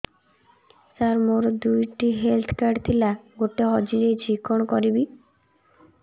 ସାର ମୋର ଦୁଇ ଟି ହେଲ୍ଥ କାର୍ଡ ଥିଲା ଗୋଟେ ହଜିଯାଇଛି କଣ କରିବି